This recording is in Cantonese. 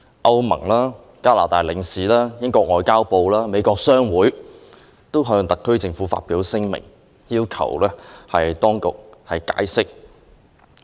歐盟、加拿大領事、英國外交及聯邦事務部及美國商會均已發出聲明，要求特區政府解釋。